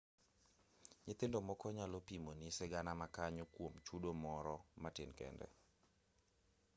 nyithindo moko nyalo pimoni sigana ma kanyo kuom chudo moro matin kende